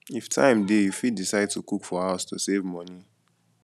if time dey you fit decide to cook for house to save money